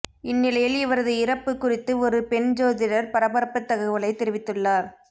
இந்நிலையில் இவரது இறப்பு குறித்து ஒரு பெண் ஜோதிடர் பரபரப்பு தகவலை தெரிவித்துள்ளார்